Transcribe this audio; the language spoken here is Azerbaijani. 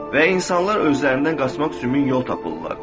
Və insanlar özlərindən qaçmaq üçün min yol tapırlar.